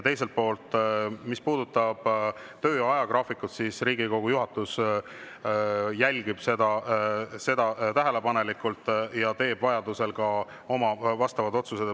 Teiselt poolt, mis puudutab töö ajagraafikut, siis Riigikogu juhatus jälgib seda tähelepanelikult ja teeb vajaduse korral oma vastavad otsused.